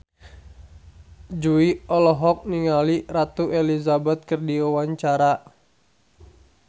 Jui olohok ningali Ratu Elizabeth keur diwawancara